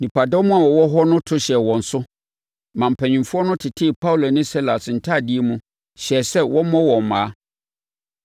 Nnipadɔm a wɔwɔ hɔ no to hyɛɛ wɔn so, na mpanin no tetee Paulo ne Silas ntadeɛ mu, hyɛɛ sɛ wɔmmɔ wɔn mmaa.